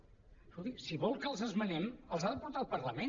escolti si vol que els esmenem els ha de portar al parlament